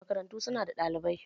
Makarantu su na da ɗalibai.